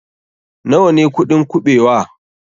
Nawa ne kuɗin kuɓewa?